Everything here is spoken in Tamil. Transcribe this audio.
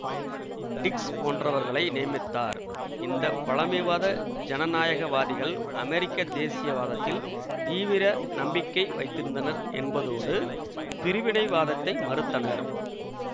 டிக்ஸ் போன்றவர்களை நியமித்தார் இந்த பழமைவாத ஜனநாயகவாதிகள் அமெரிக்க தேசியவாதத்தில் தீவிர நம்பிக்கை வைத்திருந்தனர் என்பதோடு பிரிவினைவாதத்தை மறுத்தனர்